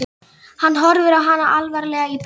Hann horfir á hana alvarlegur í bragði.